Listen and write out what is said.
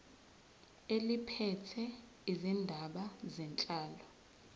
eliphethe izindaba zenhlalo